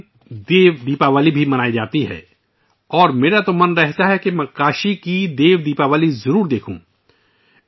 اس دن 'دیو دیوالی' بھی منائی جاتی ہے اور میں ہمیشہ کاشی کی ' دیو دیوالی ' کو دیکھنے کی خواہش رکھتا ہوں